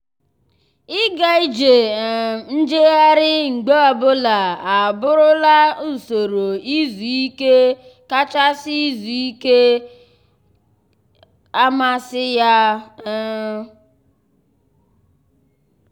ịga ije um njegharị mgbe ọbụla abụrụla usoro izu ike kachasị izu ike kachasị um amasị ya. um